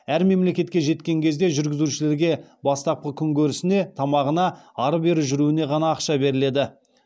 әр мемлекетке жеткен кезде жүргізушілерге бастапқы күнкөрісіне тамағына ары бері жүруіне ғана ақша беріледі